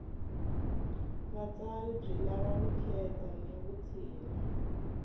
vutsari byi lava vukheta ni vutshila